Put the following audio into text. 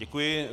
Děkuji.